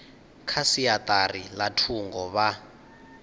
kha siaṱari ḽa thungo vha